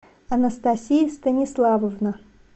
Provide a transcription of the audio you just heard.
анастасия станиславовна